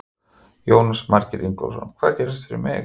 Jónas Margeir Ingólfsson: Hvað gerist fyrir mig?